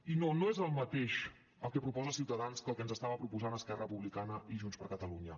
i no no és el mateix el que proposa ciutadans que el que ens estaven proposant esquerra republicana i junts per catalunya